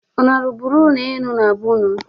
Unu arụburu ụlọ enu na be ụnụ?